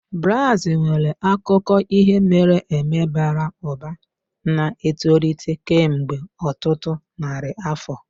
Brass nwere akụkọ ihe mere eme bara ụba, na-etolite kemgbe ọtụtụ narị afọ